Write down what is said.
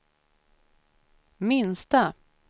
minsta